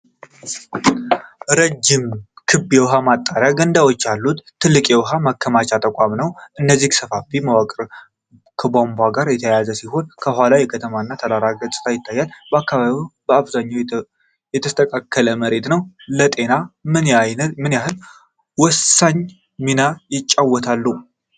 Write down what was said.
ረጅም ክብ የውኃ ማጣሪያ ገንዳዎች ያሉት ትልቅ የውኃ ማከሚያ ተቋም ነው። እነዚህ ሰፋፊ መዋቅሮች ከቧንቧዎች ጋር የተያያዙ ሲሆን ከኋላም የከተማ እና ተራራማ ገጽታ ይገኛል። አከባቢው በአብዛኛው የተስተካከለ መሬት ነው። ለጤና ምን ያህል ወሳኝ ሚና ይጫወታሉ?